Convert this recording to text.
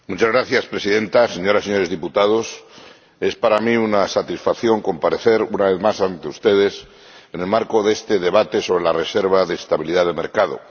Señora Presidenta, señoras y señores diputados, es para mí una satisfacción comparecer, una vez más, ante ustedes en el marco de este debate sobre la reserva de estabilidad del mercado.